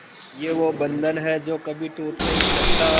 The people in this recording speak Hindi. ये वो बंधन है जो कभी टूट नही सकता